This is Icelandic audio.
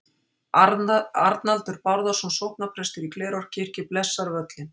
Arnaldur Bárðarson sóknarprestur í Glerárkirkju blessar völlinn.